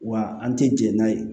Wa an tɛ jɛn n'a ye